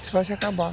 Isso vai se acabar.